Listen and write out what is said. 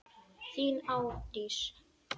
Þín Árdís.